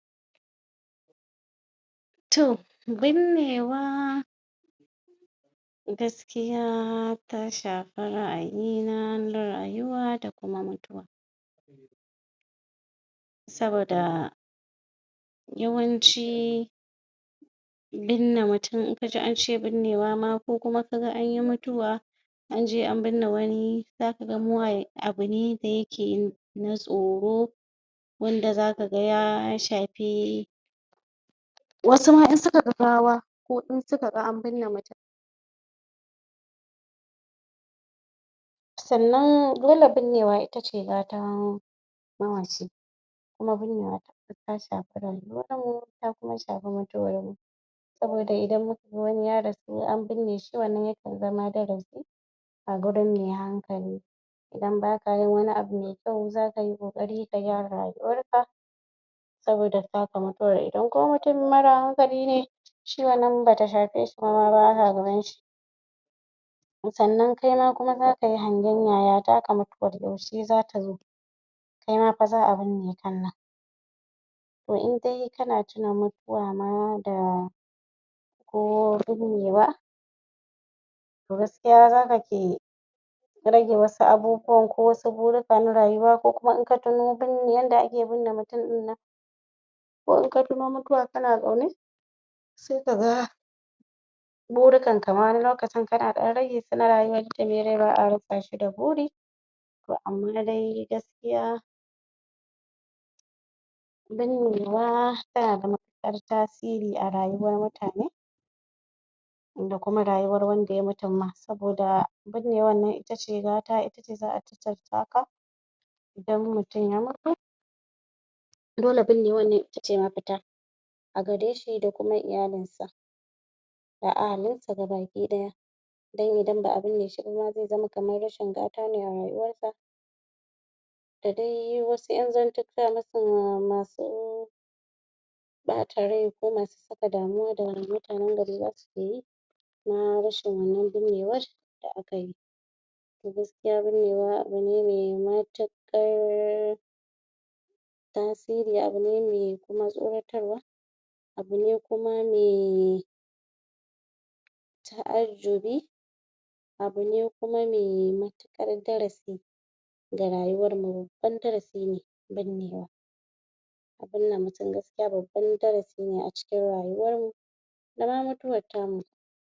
A cikin al'adar gargajiya bautawa sarauta da girmama Oba yana da matuƙar mahimmanci ko wace shekara akan gudanar da biki na miƙa gaisuwa zuwa ga Oba wanda ake kira da Igwe festival a wasu yankunan ko kuma Odun Oba a wasu wuraren wannan biki na musamman yana tattaro manyan sarakuna shugabanin al'umma da talakawa don su gabatar da girmamawa ga Oba a ranar da aka tsara biyan wannan gaisuwan ana shirya fada cikin kyau da ado na musamman masu fada suna sanya kaya masu kyau a basu ganga, ƙaho don sanar da zuwan manyan baƙi dattawa da manyan shgabanni suna shigowa ɗakin taron ko wanne yana ɗauke da kyaututtuka domin gabatar wa A lokaci da za fara biyan gaisuwa mutane suna darƙusawa ko su kwanta ruf da ciki a gaban Oba suna fadin kalmomin girmamawa da yabo wasu na cewa "kabiyesi oko oban goho" don nuna daraja mata suna kaɗa hannu samari da ƴan mata suna rangaɗa rawa suna nuna farin ciki da girmamawa a yayin da wannan biki yake gudana ana gabatar da kyaututtuka kamar su rake, gishiri, zinariya, da wasu kayan marmari. Manyan masu mulki suna kawo kyaututtuka na musamman kamar jakunkuna da buhuhuna na hatsi, dabbobi kudi, don nuna biyayyar su ga Oba Bayan gaisuwa Oba yana yi wa jama'a addu'a da kuma fatan alheri. Yayin jawabinsa na musamman, yana tunatar da mutane muhimmancin zaman lafiya, son juna, da kuma nuna haɗin kai a cikin al'umma. Ana kuma gudanar da bukukuwan kamar su wasan gargajiya, kiɗa, rawa domin nuna farin ciki mai daraja Bikin gaisuwa ga Oba wata al'ada ce da ake kiyaye ta tun kaka da kakanni yana ƙara danƙon zumunci a tsakanin al'umma yana kuma tabbatar da cewa Oba na cigaba da samun girmamawa da biyayya daga mutanen sa Wannan biyayya yana nuna cewa sarauta yan da daraja kuma mutane suna girmama Oba a matsayin jagoran al'umma